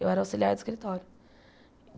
Eu era auxiliar de escritório.